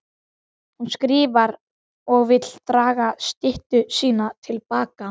Hún skrifar og vill draga styttu sína til baka.